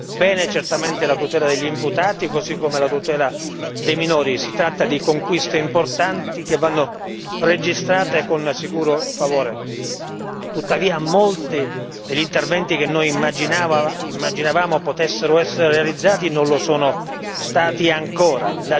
bene certamente la tutela degli imputati così come la tutela dei minori, si tratta di conquiste importanti che vanno registrate con sicuro favore, tuttavia molti degli interventi che noi immaginavamo potessero essere realizzati non lo sono ancora stati.